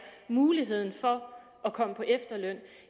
muligheden for at komme på efterløn